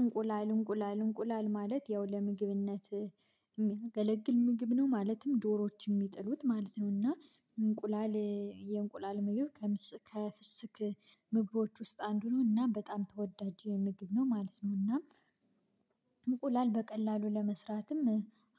እንቁላል እንቁላል እንቁላል ማለት ያው ለምግብነት የሚያገለግል ምግብ ነው ማለትም ዶሮዎች የሚጥሉት ማለት ነው። እና እንቁላል የእንቁላል ምግብ ከፍስክ ምግቦች ውስጥ አንዱ ነውና በጣም ተወዳጅ ምግብ ነው ማለት ነውና። እንቁላል በቀላሉ ለመስራትም